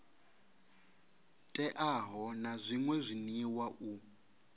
teaho na zwṅwe zwiḽiwa u